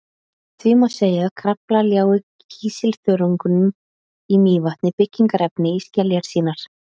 Því má segja að Krafla ljái kísilþörungum í Mývatni byggingarefni í skeljar sínar.